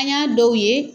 An y'a dɔw ye